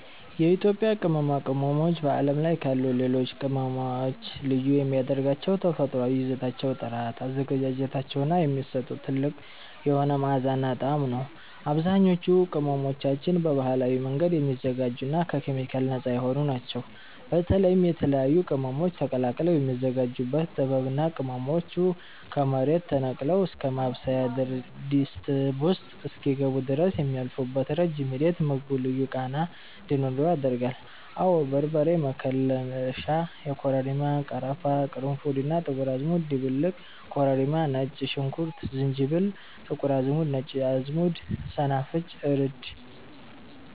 የኢትዮጵያ ቅመማ ቅመሞች በዓለም ላይ ካሉ ሌሎች ቅመሞች ልዩ የሚያደርጋቸው የተፈጥሮአዊ ይዘታቸው ጥራት፣ አዘገጃጀታቸው እና የሚሰጡት ጥልቅ የሆነ መዓዛና ጣዕም ነው። አብዛኞቹ ቅመሞቻችን በባህላዊ መንገድ የሚዘጋጁና ከኬሚካል ነፃ የሆኑ ናቸው። በተለይም የተለያዩ ቅመሞች ተቀላቅለው የሚዘጋጁበት ጥበብ እና ቅመሞቹ ከመሬት ተነቅለው እስከ ማብሰያ ድስት ውስጥ እስኪገቡ ድረስ የሚያልፉበት ረጅም ሂደት ምግቡ ልዩ ቃና እንዲኖረው ያደርጋል። አወ በርበሬ መከለሻ (የኮረሪማ፣ ቀረፋ፣ ቅርንፉድ እና ጥቁር አዝሙድ ድብልቅ) ኮረሪማ ነጭ ሽንኩርት ዝንጅብል ጥቁር አዝሙድ ነጭ አዝሙድ ሰናፍጭ እርድ